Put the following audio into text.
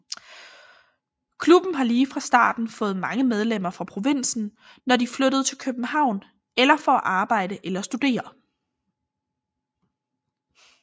Klubben har lige fra starten fået mange medlemmer fra provinsen når de flyttede til København for at arbejde eller studere